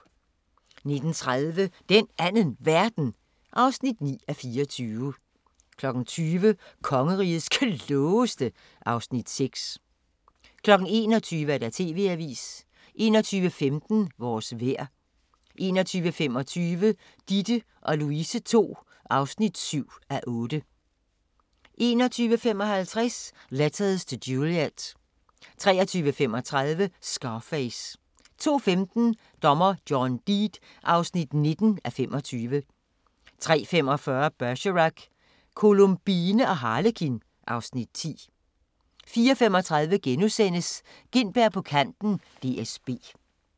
19:30: Den Anden Verden (9:24) 20:00: Kongerigets Klogeste (Afs. 6) 21:00: TV-avisen 21:15: Vores vejr 21:25: Ditte & Louise II (7:8) 21:55: Letters to Juliet 23:35: Scarface 02:15: Dommer John Deed (19:25) 03:45: Bergerac: Columbine og Harlekin (Afs. 10) 04:35: Gintberg på kanten - DSB *